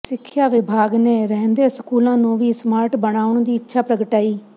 ਸਿੱਖਿਆ ਵਿਭਾਗ ਨੇ ਰਹਿੰਦੇ ਸਕੂਲਾਂ ਨੂੰ ਵੀ ਸਮਾਰਟ ਬਣਾਉਣ ਦੀ ਇੱਛਾ ਪ੍ਰਗਟਾਈ